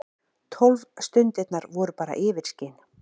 Tólf stundirnar voru bara yfirskin.